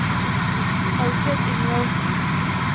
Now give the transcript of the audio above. Alfred Ingvaldsen